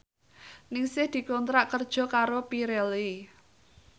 Ningsih dikontrak kerja karo Pirelli